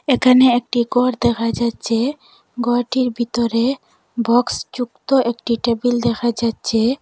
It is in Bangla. এখানে একটি ঘর দেখা যাচ্চে ঘরটির ভিতরে বক্সযুক্ত একটি টেবিল দেখা যাচ্চে।